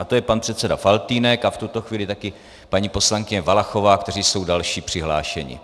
A to je pan předseda Faltýnek a v tuto chvíli taky paní poslankyně Valachová, kteří jsou další přihlášení.